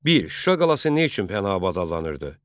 1. Şuşa qalası nə üçün Pənahabad adlanırdı?